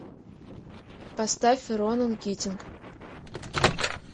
поставь ронан китинг